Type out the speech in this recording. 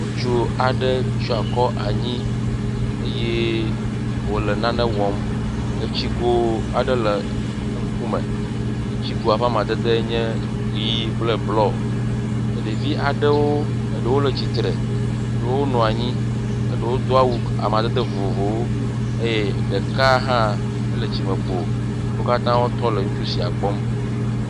Ŋutsu aɖe tsyɔ akɔ anyi eye wòle nane wɔm, etsigo aɖe le eŋkume, etsigoa ƒe amadede nye ʋɛ̃ kple blɔ. Ɖevi aɖewo, eɖewo le tsitre, eɖewo nɔ anyi, eɖewo do awu amadede vovovowo. Eye ɖeka hã, ele tsi me kpo, wo katã tɔ le ŋutsu sia kpɔm.